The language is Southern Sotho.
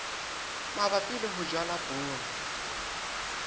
mabapi le ho jala poone